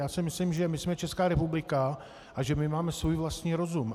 Já si myslím, že my jsme Česká republika a že my máme svůj vlastní rozum.